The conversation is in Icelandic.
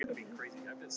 hlær hún.